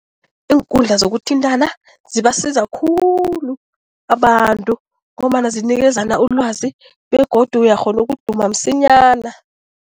Iinkundla zokuthintana zibasiza khulu abantu ngombana zinikezana ulwazi begodu uyakghona ukuduma msinyana.